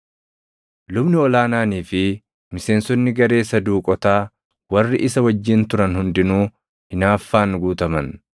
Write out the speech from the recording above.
Lubni ol aanaanii fi miseensonni garee Saduuqotaa warri isa wajjin turan hundinuu hinaaffaan guutaman.